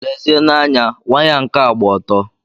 Lezienụ anya, waya nka gba ọtọ!